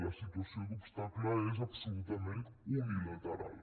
la situació d’obstacle és absolutament unilateral